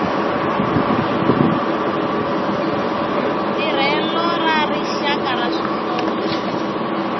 tirhelo ra rixaka ra swihlovo